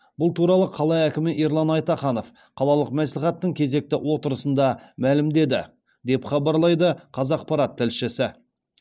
бұл туралы қала әкімі ерлан айтаханов қалалық мәслихаттың кезекті отырысында мәлімдеді деп хабарлайды қазақпарат тілшісі